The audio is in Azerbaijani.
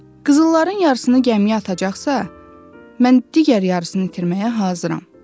Qızılların yarısını gəmiyə atacaqsa, mən digər yarısını itirməyə hazıram.